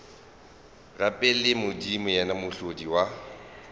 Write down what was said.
rapeleng modimo yena mohlodi wa